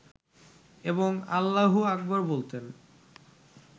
এবং আল্লাহু আকবর বলতেন